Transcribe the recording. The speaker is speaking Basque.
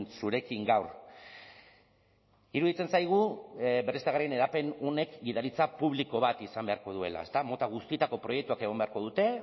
zurekin gaur iruditzen zaigu berriztagarrien hedapen honek gidaritza publiko bat izan beharko duela ezta mota guztietako proiektuak egon beharko dute